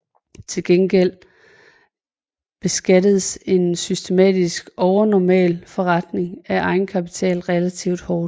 Til gengæld beskattedes en systematisk overnormal forrentning af egenkapitalen relativt hårdt